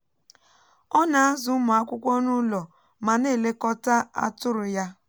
ọ na-azụ ụmụ akwụkwọ nụlọ ma na-elekọta atụrụ ya